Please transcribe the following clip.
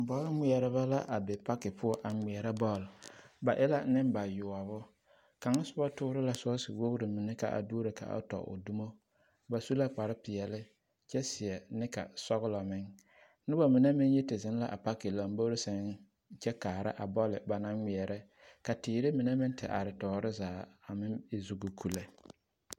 Bɔl ŋmeɛrebɛ la a be paki poɔ a ŋmeɛrɛ bɔɔl, ba e la nembayoɔbo, kaŋ soba toore la sɔɔse wogiri mine ka a duoro waana ka a tɔ o dumo, ba su la kpare peɛle kyɛ seɛ neka sɔgelɔ meŋ, noba mine meŋ yi te zeŋ la a paki lombori seŋ kyɛ kaara a bɔl ba naŋ ŋmeɛrɛ ka teere mine meŋ te are tɔɔre zaa a meŋ e zugoku lɛ.